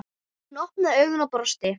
Hún opnaði augun og brosti.